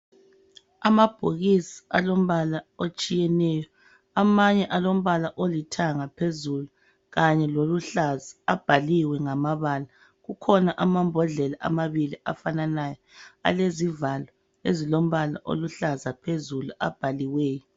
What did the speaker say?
Amabhokisi alombala otshiyeneyo amanye alombala olithanga phezulu kanye loluhlaza abhaliwe ngamabala. Kukhona amambodlela amabili afananayo alezivalo ezilombala oluhlaza phezulu abhaliweyo.